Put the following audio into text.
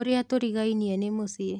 ũrĩa tũrigainie nĩ mũici.